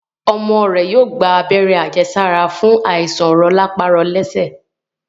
ọmọ rẹ yóò gba Abẹ́rẹ́ àjẹsára fún Àìsàn rọpárọsẹ